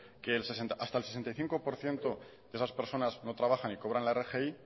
que hasta el sesenta y cinco por ciento de esas personas no trabajan y cobran la rgi